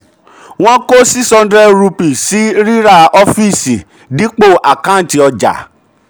wọ́n kó six hundred rupees sí um ríra sí um ríra ọfíìsì dipo àkàǹtì um ọjà.